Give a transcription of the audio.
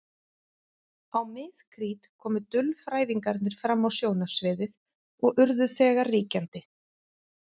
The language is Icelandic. Á mið-krít komu dulfrævingarnir fram á sjónarsviðið og urðu þegar ríkjandi.